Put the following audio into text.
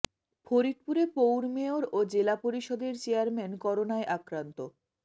ফরিদপুরে পৌর মেয়র ও জেলা পরিষদের চেয়ারম্যান করোনায় আক্রান্ত